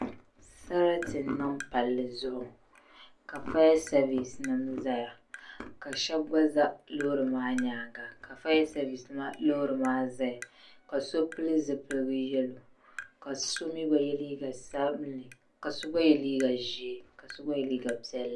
Sarati n niŋ palli zuɣu ka fayasevis nima zaya shena gna za loori maa nyaanga ka fayasevis loori maa zaya ka so pili zipil'yelo ka so mee gba ye liiga sabinli ka so gba ye liiga ʒee ka so gba ye liiga piɛlli.